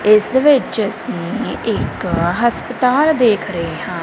ਇਸ ਵਿੱਚ ਅਸੀਂ ਇੱਕ ਹਸਪਤਾਲ ਦੇਖ ਰਹੇ ਹਾਂ।